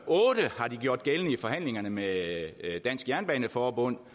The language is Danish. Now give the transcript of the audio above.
otte har de gjort gældende i forhandlingerne med dansk jernbaneforbund